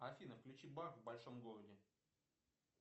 афина включи баб в большом городе